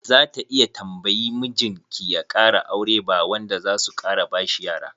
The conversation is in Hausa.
Za ta iya tambayi mijin ki ya kara aure ba wanda zasu kara bashi yara.